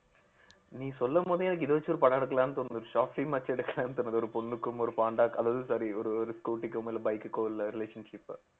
நீ சொல்லும் போதே எனக்கு இத வச்சு ஒரு படம் எடுக்கலான்னு தோணுது short film ஆச்சு எடுக்கலாம்ன்னு தோணுது ஒரு பொண்ணுக்கும் ஒரு பாண்டா அதாவது sorry ஒரு ஒரு scooty க்கோ இல்ல bike க்ககோ உள்ள relationship